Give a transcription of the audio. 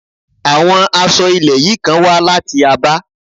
Àwọn aṣọ ilẹ̀ yìí kan wá láti Abá.